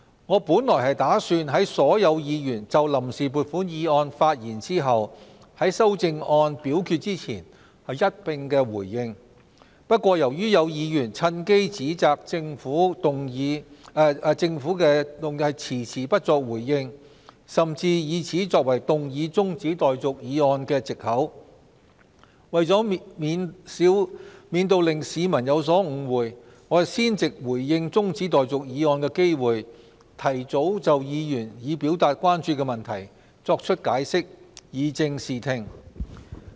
我本打算在所有議員就臨時撥款議案發言後，在修訂議案表決前才一併回應，但由於有議員趁機指責政府遲遲不作回應，甚至以此作為動議中止待續議案的藉口，為免令市民有所誤會，我先藉着這個回應中止待續議案的機會，提早就議員已表達關注的問題作出解釋，以正視聽。